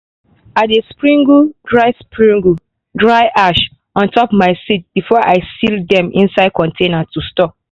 i dey springle dry springle dry ash on top my seeds before i seal dem inside container to store.